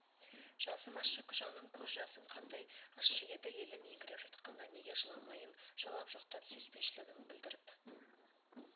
жасымашы жаным көз жасың қандай ащы еді елім еңіреп жатқанда неге жыламайым жалап-жұқтап сүйіспеншілігін білдіріп